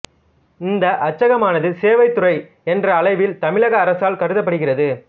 இந்த அச்சகமானது சேவைத் துறை என்ற அளவில் தமிழக அரசால் கருதப்படுகிறது